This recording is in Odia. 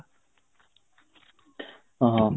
ହଁ ହଁ